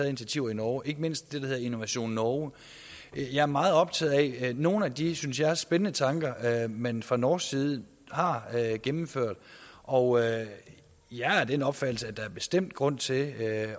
initiativer i norge ikke mindst det der hedder innovasjon norge jeg er meget optaget af nogle af de synes jeg spændende tanker man fra norsk side har gennemført og jeg er af den opfattelse at der bestemt er grund til at